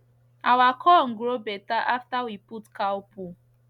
our corn grow better after we put cow poo